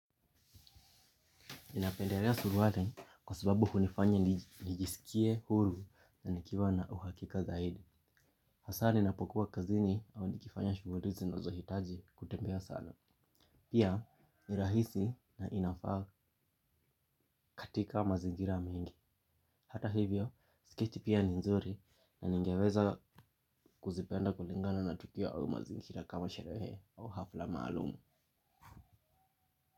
Ninapendelea suruali kwa sababu hunifanya nijisikie huru na nikiwa na uhakika zaidi. Hasaa ninapokuwa kazini au nikifanya shughuli zinazohitaji kutembea sana. Pia, ni rahisi na inafaa katika mazingira mingi. Hata hivyo, sketi pia ni nzuri na ningeweza kuzipenda kulingana na tukia au mazingira kama sherehe au hafla maalum.